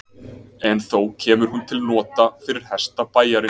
En þó kemur hún til nota fyrir hesta bæjarins.